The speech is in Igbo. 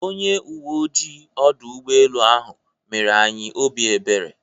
Onye uwe oji ọdụ ụgbọelu ahụ mere anyị obi ebere.